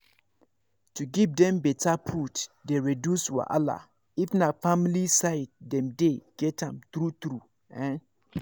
to give dem better food dey reduce wahala if na family side dem dey get am true true ehn